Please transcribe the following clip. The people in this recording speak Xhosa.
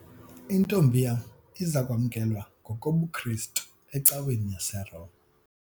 Intombi yam iza kwamkelwa ngokobuKrestu ecaweni yaseRoma.